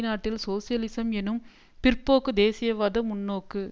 நாட்டில் சோசியலிசம் எனும் பிற்போக்கு தேசியவாத முன்நோக்கு